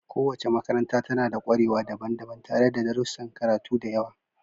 Kowace makaranta tana da ƙwarewa daban-daban tare da darussan karatu da yawa.